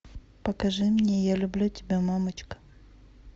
покажи мне я люблю тебя мамочка